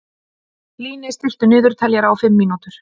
Líni, stilltu niðurteljara á fimm mínútur.